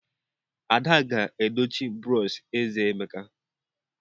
Ada ga-edochi brọsh eze Emeka.